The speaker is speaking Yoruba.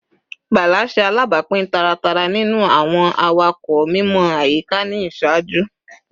Bala ṣe alabapin taratara ninu awọn awakọ mimọ ayika ni iṣaaju